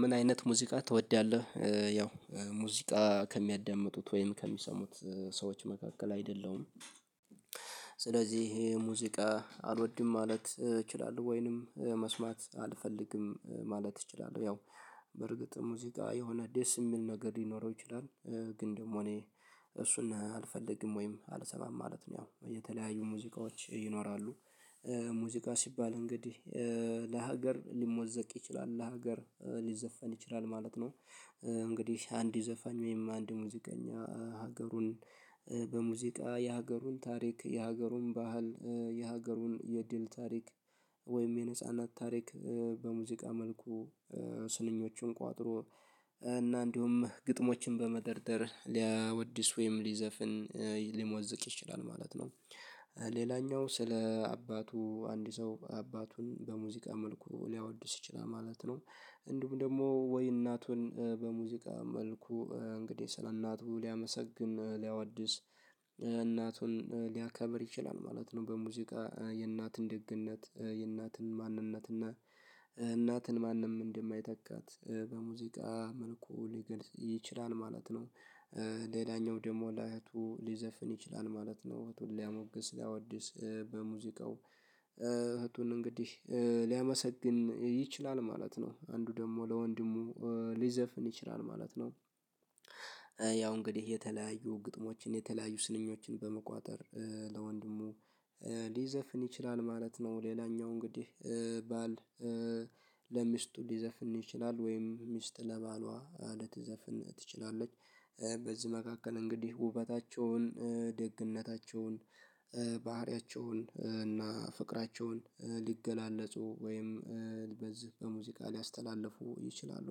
ምን አይነት ሙዚቃ ትወዳለህ? ያው ሙዚቃ ከሚያዳምጡት ወይም ከሚሰሙት ሰዎች መካከል አይደለሁም። ስለዚህ ሙዚቃ አልወድም ማለት እችላለሁ ወይንም መስማት አልፈልግም ማለት እችላለሁ። ያው በርግጥ ሙዚቃ የሆነ ደስ የሚል ነገር ሊኖረው ይችላል። ግን ደግሞ እኔ እሱን አልፈልግም ወይም አልሰማም ማለት ነው ያው የተለያዩ ሙዚቃዎች ይኖራሉ። ሙዚቃ ሲባል እንግዲህ ለሀገር ሊሞዘቅ ይችላል ለሀገር ሊዘፈን ይችላል ማለት ነው። እንግዲህ አንድ ዘፋኝ ወይም አንድ ሙዚቀኛ ሀገሩን በሙዚቃ የሀገሩን ታሪክ የሀገሩን ባህል የሀገሩን የድል ታሪክ ወይም የነጻነት ታሪክ በሙዚቃ መልኩ ስንኞቹን ቆጥሮ እና እንዲሁም ግጥሞችን በመደርደር ሊያወድስ ወይም ሊዘፍን ሊሞዝቅ ይችላል ማለት ነው። ሌላኛው ስለ አባቱ አንድ ሰው አባቱን በሙዚቃ መልኩ ሊያወድስ ይችላል ማለት ነው። እንዲሁም ደግሞ ወይ እናቱን በሙዚቃ መልኩ እንግዲህ ስለ እናቱ ሊያመሰግን ሊያዋድስ እናቱን ሊያከብር ይችላል ማለት ነው። በሙዚቃ የእናትን ደግነት የእናትን ማንነት ማንነትና እናትን ማንም እንደማይተካት በሙዚቃ መልኩ ሊገልጽ ይችላል ማለት ነው። ሌላኛው ደግሞ ለእህቱ ሊዘፍን ይችላል ማለት ነው እህቱን ሊያሞግስ ሊያወድስ በሙዚቃው እህቱን እንግዲህ ሊያመሰግን ይችላል ማለት ነው። አንዱ ደግሞ ለወንድሙ ሊዘፍን ይችላል ማለት ነው። ያው እንግዲህ የተለያዩ ግጥሞችን የተለያዩ ስንኞችን በመቋጠር ለወንድሙ ሊዘፍን ይችላል ማለት ነው። ሌላኛው እንግዲህ ባል ለሚስቱ ሊዘፍን ይችላል ወይም ሚስት ለባሏ ለትዘፍን ትችላለች። በዚህ መካከል እንግዲህ ውበታቸውን ደግነታቸውን ባህሪያቸውን እና ፍቅራቸውን ሊገላለጹ ወይም በዚህ በሙዚቃ ሊያስተላልፉ ይችላሉ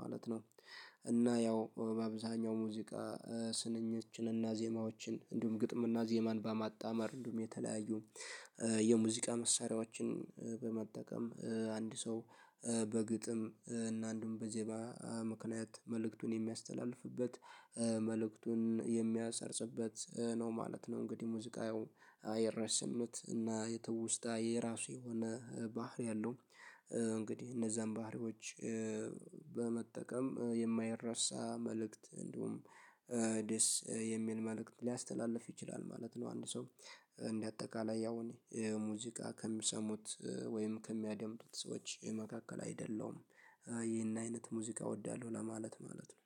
ማለት ነው። እና ያው አብዛኛው ሙዚቃ ስንኞችን እና ዜማዎችን እንዲሁም ግጥም እና ዜማን በማጣመር እንዲሁም የተለያዩ የሙዚቃ መሳሪያዎችን በመጠቀም አንድ ሰው በግጥም እና አንዱም በዜማ ምክንያት መልእክቱን የሚያስተላልፍበት መልእክቱን የሚያሰርጽበት ነው ማለት ነው። እንግዲህ ሙዚቃ ያው የራስነት እና የትውስታ የራሱ የሆነ ባህሪ አለው። እንግዲህ እነዛን ባህሪዎች በመጠቀም የማይረሳ መልእክት እንዲሁም ደስ የሚል መልእክት ሊያስተላልፍ ይችላል ማለት ነው። አንድ ሰው እንደ አጠቃላይ ያው እኔ ሙዚቃ ከሚሰሙት ወይም ከሚያደምጡት ሰዎች መካከል አይደለሁም። ይህን አይነት ሙዚቃ እወዳለሁ ለማለት ማለት ነው